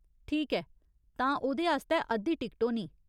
ठीक ऐ, तां ओह्‌दे आस्तै अद्धी टिकट होनी।